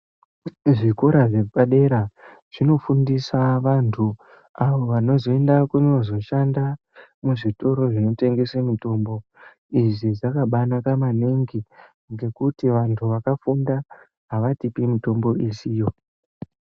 Zvikora zvepadera zvinofundisa vantu avo vanozoenda kunozoshanda muzvitoro zvinotengese mitombo. Izvi zvakabaanaka ngekuti vantu vakafunda avatipi mitombo isiyo.